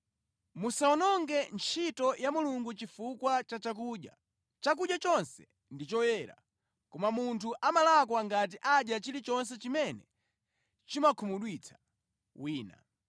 Musawononge ntchito ya Mulungu chifukwa cha chakudya. Chakudya chonse ndi choyera, koma munthu amalakwa ngati adya chilichonse chimene chimakhumudwitsa wina.